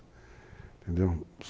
Entendeu?